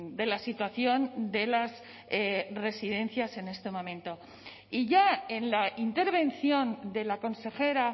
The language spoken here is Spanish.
de la situación de las residencias en este momento y ya en la intervención de la consejera